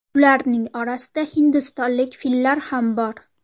Ularning orasida hindistonlik fillar ham bor.